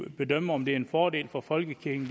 bedømme om det er en fordel for folkekirken